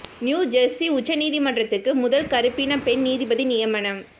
new Jersey உச்ச நீதிமன்றத்துக்கு முதல் கறுப்பின பெண் நீதிபதி நியமனம்